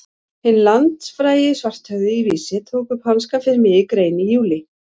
Hinn landsfrægi Svarthöfði í Vísi tók upp hanskann fyrir mig í grein í júlí.